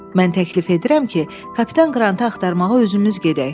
Mən təklif edirəm ki, Kapitan Qrantı axtarmağa özümüz gedək.